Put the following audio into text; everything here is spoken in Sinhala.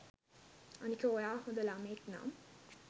අනික ඔයා හොද ළමයෙක් නම්